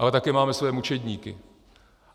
Ale také máme svoje mučedníky.